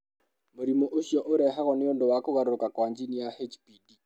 Mũrimũ ũcio ũrehagwo nĩ ũndũ wa kũgarũrũka kwa jini ya HPD.